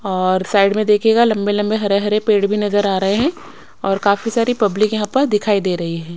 और साइड में देखियेगा लंबे लंबे हरे हरे पेड़ भी नजर आ रहे हैं और काफी सारी पब्लिक यहां पर दिखाई दे रही है।